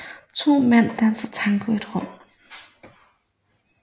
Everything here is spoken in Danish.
To mænd danser tango i et rum